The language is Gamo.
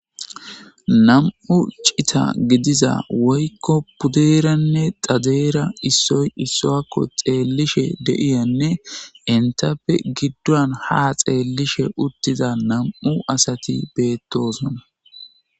Nam'u cita gidiza woykko puddeeranne xadeera issoy issuakko xeellishe deiyanne intappe giddon ha xeellishe uttiza nam'u asati beettosona